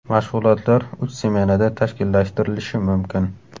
Mashg‘ulotlar uch smenada tashkillashtirilishi mumkin.